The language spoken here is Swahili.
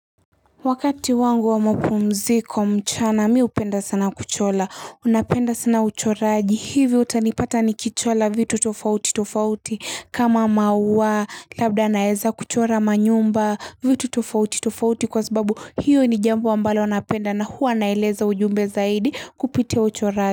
Wakati wangu wa mapumziko mchana mi hupenda sana kuchola unapenda sana uchoraji hivi utanipata ni kichola vitu tofauti tofauti kama maua labda naeza kuchora manyumba vitu tofauti tofauti kwa sababu hiyo ni jambo ambalo napenda na huwa naeleza ujumbe zaidi kupitia uchoraji.